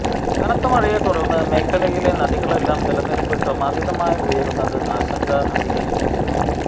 കനത്ത മഴയെ തുടർന്ന് മേഖലയിലെ നദികളിലെല്ലാം ജലനിരപ്പ് ക്രമാതീതമായി ഉയരുന്നത് ആശങ്ക അധികരിപ്പിക്കുന്നു